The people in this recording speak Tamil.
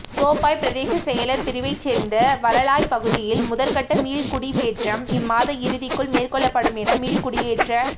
கோப்பாய் பிரதேச செயலர் பிரிவைச் சேர்ந்த வளலாய்ப்பகுதியில் முதற்கட்ட மீள்குடியேற்றம் இம்மாதம் இறுதிக்குள் மேற்கொள்ளப்படும் என மீள்குடியேற்ற